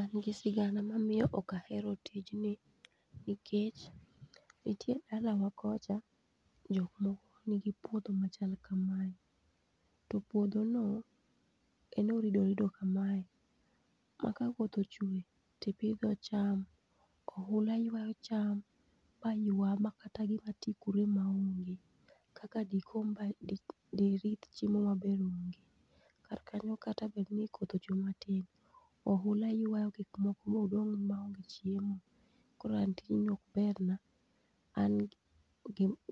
An gi sigana mamiyo ok ahero tijni nikech nitie dalawa kocha jokmoko nigi puodho machal kamae topuodho no en oridoorido kamae ma kakoth ochwe tipidho cham oula ywa cham maywa makata gima ti kuro emaonge kaka dirith chiemo mabe onge kar kanyo kata dibed ni koth ochwe matin oula ywa gikmoko modong maonge chiemo koro an tijini ok berna an